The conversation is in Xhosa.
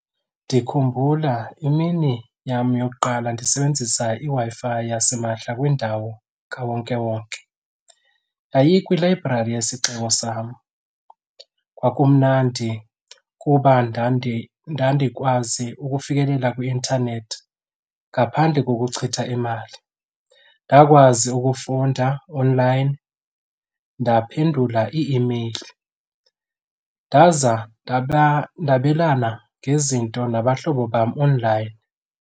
Ndikhumbula imini yam yokuqala ndisebenzisa iWi-Fi yasimahla kwindawo kawonkewonke, yayikwilayibrari yesixeko sam. Kwakumnandi kuba ndandikwazi ukufikelela kwi-intanethi ngaphandle kokuchitha imali. Ndakwazi ukufunda online, ndaphendula ii-imeyili ndaza ndaba ndabelana ngezinto nabahlobo bam online.